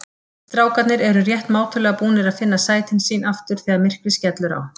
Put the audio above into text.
Strákarnir eru rétt mátulega búnir að finna sætin sín aftur þegar myrkrið skellur á.